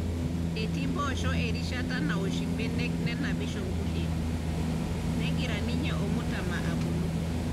Etii mpposho erishata nawosh imbenek nenapisho kulie negira ninye ormutama abulu.